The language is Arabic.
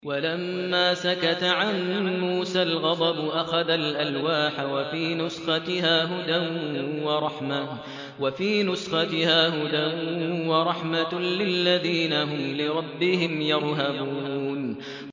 وَلَمَّا سَكَتَ عَن مُّوسَى الْغَضَبُ أَخَذَ الْأَلْوَاحَ ۖ وَفِي نُسْخَتِهَا هُدًى وَرَحْمَةٌ لِّلَّذِينَ هُمْ لِرَبِّهِمْ يَرْهَبُونَ